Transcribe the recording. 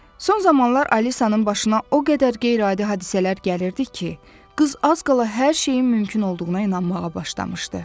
Son zamanlar Alisanın başına o qədər qeyri-adi hadisələr gəlirdi ki, qız az qala hər şeyin mümkün olduğuna inanmağa başlamışdı.